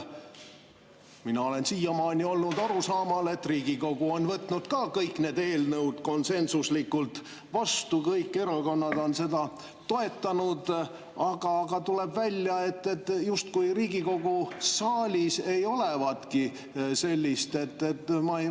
Mina olen siiamaani olnud arusaamal, et Riigikogu on võtnud kõik need eelnõud ka konsensuslikult vastu, kõik erakonnad on neid toetanud, aga tuleb välja, justkui Riigikogu saalis ei olevatki sellist.